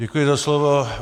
Děkuji za slovo.